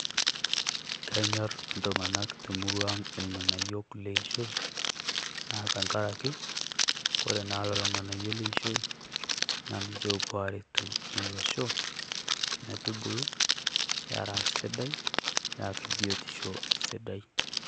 Kenyorr iltung'anak te murua ang' ilng'anayiok le eishoi, naa tengaraki kore naa lelo ng'anayiok leishoi naa ninche oopuo aaretoki Olosho metubulu era sidai, eeta biotisho sidai.